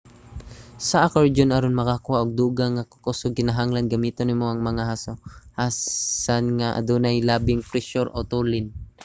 sa akordyon aron makakuha og dugang nga kakusog kinahanglan gamiton nimo ang mga hasohasan nga adunay labing presyur o tulin